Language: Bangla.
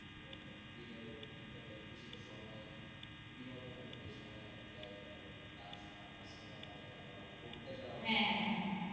দিনের একটা নির্দিষ্ট সময় বিনোদনের পেছনে ব্যয় করা যেমন গান শোনা বা cinema দেখা বা ঘুরতে যাওয়া. হ্যাঁ হ্যাঁ হ্যাঁ